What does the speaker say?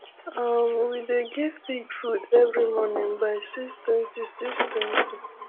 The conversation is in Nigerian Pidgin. um we dey give pig food every morning by six twenty six twenty